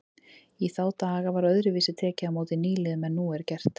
Í þá daga var öðruvísi tekið á móti nýliðum en nú er gert.